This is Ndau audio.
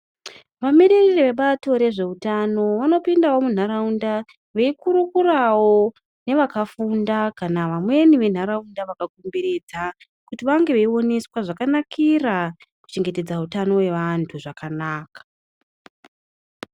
Vamiririri vebato rezveutano vanopindawo munharaunda veikurukurawo nevakafunda kana vamweni venharaunda vakakomberedza. Kuti vange veioneswa zvakanakira kuchengetedza utano hwevantu zvakanaka.